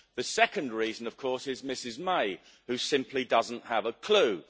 The second reason, of course, is Mrs May, who simply doesn't have a clue.